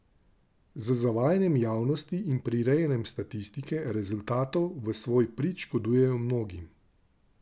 Z zavajanjem javnosti in prirejanjem statistike, rezultatov v svoj prid škodujejo mnogim.